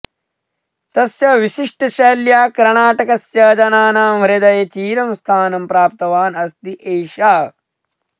तस्य विशिष्टशैल्या कर्णाटकस्य जनानां हृदये चिरं स्थानं प्राप्तवान् अस्ति एषः